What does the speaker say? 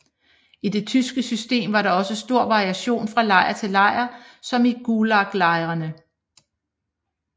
I det tyske system var der også stor variation fra lejr til lejr som i gulaglejrene